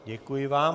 Děkuji vám.